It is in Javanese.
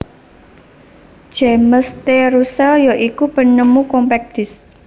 James T Russell ya iku penemu Compact Disc